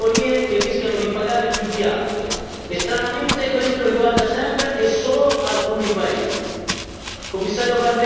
Vi sono associazioni di categorie che rischiano di pagare più di altre e, stranamente, questo riguarda sempre e solo alcuni paesi.